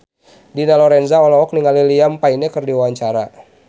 Dina Lorenza olohok ningali Liam Payne keur diwawancara